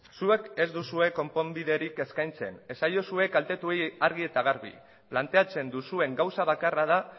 zuek ez duzue konponbiderik eskaintzen esaiozue kaltetuei argi eta garbi planteatzen duzuen gauza bakarra da